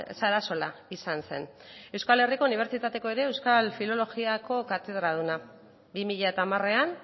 sarasola izan zen euskal herriko unibertsitateko euskal filologiako katedraduna bi mila hamarean